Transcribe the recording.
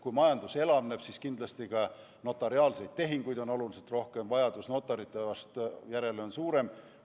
Kui majandus elavneb, siis kindlasti ka notariaalseid tehinguid on oluliselt rohkem, vajadus notarite järele on suurem.